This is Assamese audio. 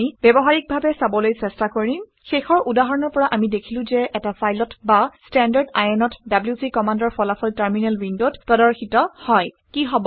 এইটো আমি ব্যৱহাৰিকডাৱে চাবলৈ চেষ্টা কৰিম। শেষৰ উদাহৰণৰ পৰা আমি দেখিলো যে এটা ফাইলত বা standardin অত ডব্লিউচি কমাণ্ডৰ ফলাফল টাৰমিনেল উইণ্ডত প্ৰদৰ্শিত হয়